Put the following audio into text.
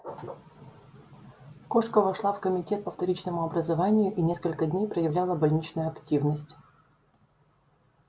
кошка вошла в комитет по вторичному образованию и несколько дней проявляла больничную активность